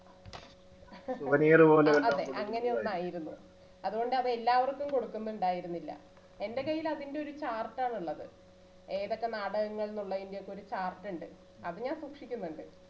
അതെ അങ്ങനെ ഒന്ന് ആയിരുന്നു അതുകൊണ്ട് അത് എല്ലാവർക്കും കൊടുക്കുന്നുണ്ടായിരുന്നില്ല. എൻറെ കയ്യിൽ അതിൻറെ ഒരു chart ആണ് ഉള്ളത് ഏതൊക്കെ നാടകങ്ങൾ എന്നുള്ളതിന്റെ ഒരു chart ഉണ്ട് അത് ഞാൻ സൂക്ഷിക്കുന്നുണ്ട്.